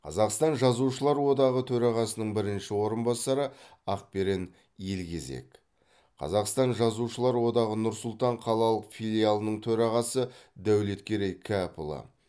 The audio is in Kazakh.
қазақстан жазушылар одағы төрағасының бірінші орынбасары ақберен елгезек қазақстан жазушылар одағы нұр сұлтан қалалық филиалының төрағасы дәулеткерей кәпұлы